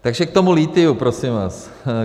Takže k tomu lithiu, prosím vás.